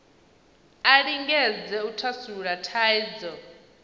a lingedze u thasulula thaidzo